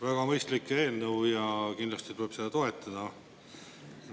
Väga mõistlik eelnõu ja kindlasti tuleb seda toetada.